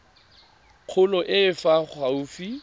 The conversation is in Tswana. kgolo e e fa gaufi